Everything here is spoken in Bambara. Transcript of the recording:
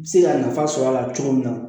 Se ka nafa sɔrɔ a la cogo min na